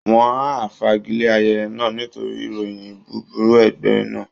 Wọ́n á fagilé ayẹyẹ náà nítorí ìròyìn búburú ẹgbẹ́ náà